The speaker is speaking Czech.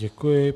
Děkuji.